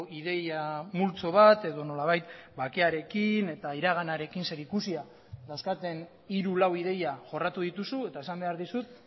ideia multzo bat edo nolabait bakearekin eta iraganarekin zer ikusia dauzkaten hiru lau ideia jorratu dituzu eta esan behar dizut